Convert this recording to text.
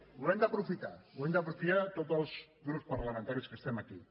ho hem d’aprofitar ho hem d’aprofitar tots els grups parlamentaris que estem aquí